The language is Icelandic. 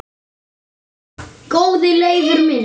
Góði Leifur minn